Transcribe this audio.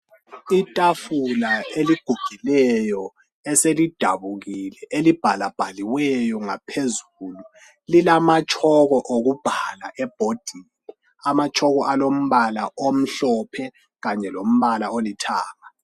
Itafula eligugileyo eselidabukile elibhalabhaliweyo ngaphezulu lilamatshoko okubhala ebhodini amatshoko alompala omhlophe kanye lompala olithanga.